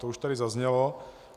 To už tady zaznělo.